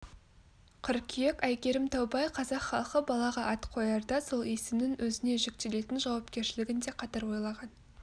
қыркүйек әйгерім таубай қазақ халқы балаға ат қоярда сол есімнің өзіне жүктелетін жауапкершілігін де қатар ойлаған